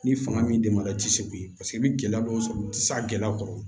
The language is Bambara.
Ni fanga min denmara i ti se k'u ye i bi gɛlɛya dɔw sɔrɔ u ti se ka gɛlɛya kɔrɔ